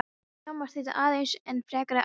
Skammir þýddu aðeins enn frekari ærsl.